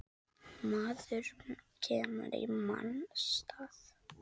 Maður kemur í manns stað.